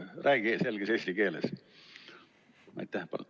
Räägi selges eesti keeles!